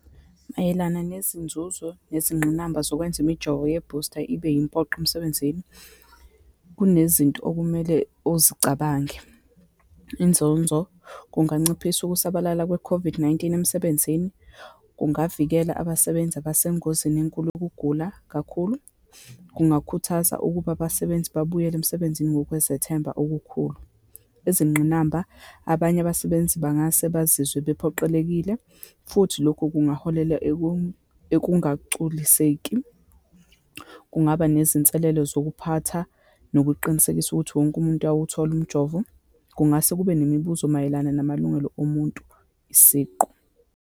Mayelana nezinzuzo nezingqinamba zokwenza imijovo yebhusta ibe impoqo emsebenzini, kunezinto okumele uzicabange. Inzonzo, kunganciphisa ukusabalala kwe-COVID-19 emsebenzini, kungavikela abasebenzi abesengozini enkulu yokugula kakhulu, kungakhuthaza ukuba abasebenzi babuyele emsebenzini ngokwezethemba okukhulu. Izingqinamba, abanye abasebenzi bangase bazizwe bephoqelekile, futhi lokhu kungaholela ekungagculiseki, kungaba nezinselelo zokuphatha, nokuqinisekisa ukuthi wonke umuntu ayawuthola umjovo, kungase kube nemibuzo mayelana namalungelo omuntu siqu.